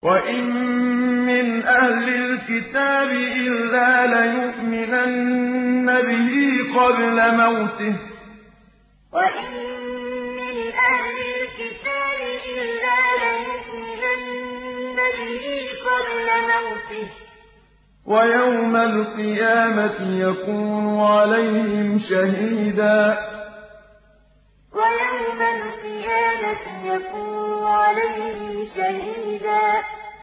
وَإِن مِّنْ أَهْلِ الْكِتَابِ إِلَّا لَيُؤْمِنَنَّ بِهِ قَبْلَ مَوْتِهِ ۖ وَيَوْمَ الْقِيَامَةِ يَكُونُ عَلَيْهِمْ شَهِيدًا وَإِن مِّنْ أَهْلِ الْكِتَابِ إِلَّا لَيُؤْمِنَنَّ بِهِ قَبْلَ مَوْتِهِ ۖ وَيَوْمَ الْقِيَامَةِ يَكُونُ عَلَيْهِمْ شَهِيدًا